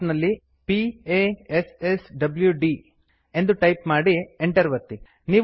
ಪ್ರಾಂಪ್ಟಿನಲ್ಲಿ p a s s w d ಎಂದು type ಮಾಡಿ enter ಒತ್ತಿ